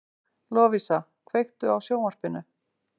Lovísa, kveiktu á sjónvarpinu.